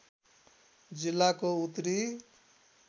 जिल्लाको उत्तरी